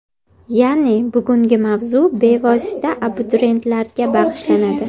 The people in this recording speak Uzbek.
Ya’ni bugungi mavzu bevosita abituriyentlarga bag‘ishlanadi.